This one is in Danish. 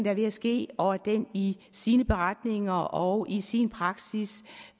er ved at ske og at den i sine beretninger og i sin praksis